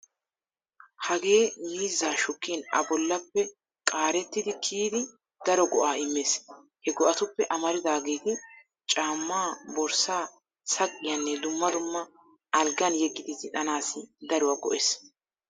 Hagee miizzaa shukkin a bollappe qaarettidi kiyidi daro go'aa immees. He go'atuppe amaridaageeti caammaa, borssaa, saqiyaanne dumma dumma algan yeggidi zin"anaassi daruwaa go'ees.